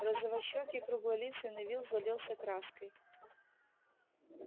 розовощёкий круглолицый невилл залился краской